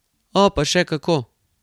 O, pa še kako!